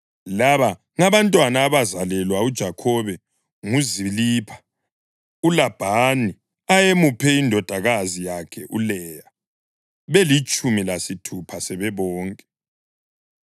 Laba ngabantwana abazalelwa uJakhobe nguZilipha, uLabhani ayemuphe indodakazi yakhe uLeya, belitshumi lesithupha sebebonke.